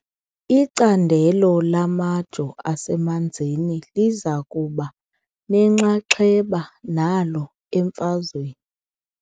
Icandelo lamajoo asemanzini liza kuba nenxaxheba nalo emfazweni .